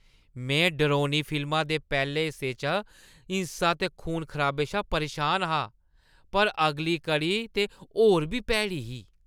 मैं डरौनी फिल्मा दे पैह्‌ले हिस्से च हिंसा ते खून-खराबे शा परेशान हा, पर अगली कड़ी ते होर बी भैड़ी ही।